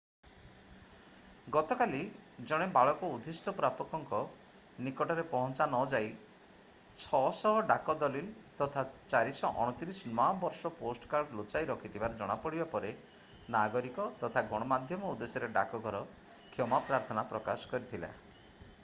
ଗତକାଲି ଜଣେ ବାଳକ ଉଦ୍ଦିଷ୍ଟ ପ୍ରାପକଙ୍କ ନିକଟରେ ପହଞ୍ଚା ନଯାଇ 600 ଡାକ ଦଲିଲ୍ ତଥା 429 ନୂଆ ବର୍ଷ ପୋଷ୍ଟ କାର୍ଡ ଲୁଚାଇ ରଖିଥିବାର ଜଣାପଡ଼ିବା ପରେ ନାଗରିକ ତଥା ଗଣମାଧ୍ୟମ ଉଦ୍ଦେଶ୍ୟରେ ଡାକଘର କ୍ଷମା ପ୍ରାର୍ଥନା ପ୍ରକାଶ କରିଥିଲା